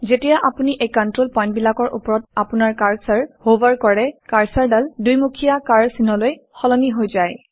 যেতিয়া আপুনি এই কণ্ট্ৰল পইণ্টবিলাকৰ ওপৰত আপোনাৰ কাৰ্চৰ হভাৰ কৰে কাৰ্চৰডাল দুমুখীয়া কাঁড় চিনলৈ সলনি হৈ যায়